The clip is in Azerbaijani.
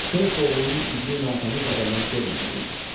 Şeyx oğlunun üzünü natəmiz adamlar görməməli idi.